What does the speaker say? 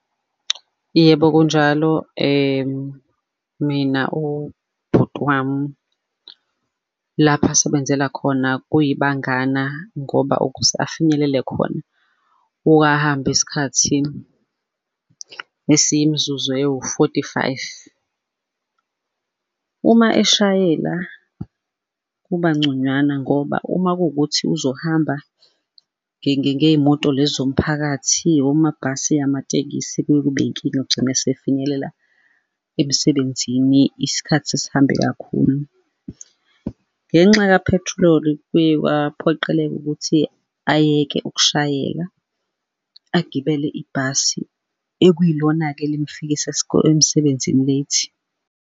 Yebo, kunjalo, mina ubhuti wami lapho asebenzela khona kuyibangana, ngoba ukuze afinyelele khona uke ahambe isikhathi esiyimizuzu eyiwu-forty-five. Uma eshayela kubanconywana ngoba uma kuwukuthi uzohamba ngey'moto lezi zomphakathi, omabhasi, amatekisi kuye kube yinkinga ugcina esefinyelela emsebenzini isikhathi sesihambe kakhulu. Ngenxa ka-petrol-i kuye kwaphoqeleka ukuthi ayeke ukushayela agibele ibhasi ekwiyilona-ke elingifikisa emsebenzini late.